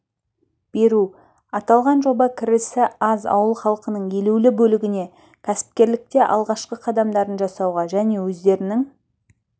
беру аталған жоба кірісі аз ауыл халқының елеулі бөлігіне кәсіпкерлікте алғашқы қадамдарын жасауға және өздерінің